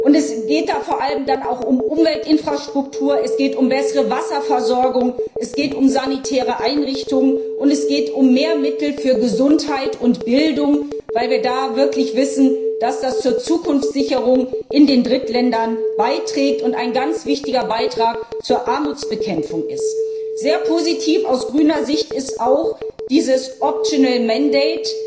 Es geht vor allem auch um Umweltinfrastrukturen, um bessere Wasserversorgung, um sanitäre Einrichtungen und um mehr Mittel für Gesundheit und Bildung, weil wir da wirklich wissen, dass das zur Zukunftssicherung in den Drittländern beiträgt und ein ganz wichtiger Beitrag zur Armutsbekämpfung ist. Sehr positiv aus grüner Sicht ist auch das optionale Mandat